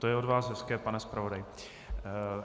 To je od vás hezké, pane zpravodaji.